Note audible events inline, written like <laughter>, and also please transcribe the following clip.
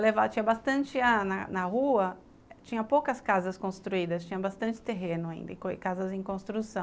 <unintelligible> Então tinha bastante ah na rua, tinha poucas casas construídas, tinha bastante terreno ainda e casas em construção.